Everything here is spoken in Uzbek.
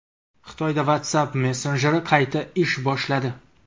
Xitoyda WhatsApp messenjeri qayta ish boshladi.